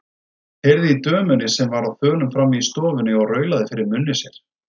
Heyrði í dömunni sem var á þönum frammi í stofunni og raulaði fyrir munni sér.